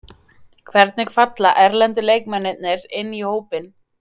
Hvernig falla erlendu leikmennirnir inn í hópinn?